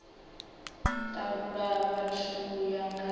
talula vhathu u ya nga